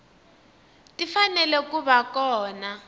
ti fanele ku va kona